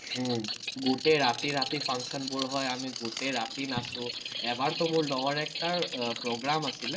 উম গোটেই ৰাতি, ৰাতি function বোৰ হয়, আমি গোটেই ৰাতি নাচো, এবাৰতো মোৰ লগৰ একটাৰ program আছিলে,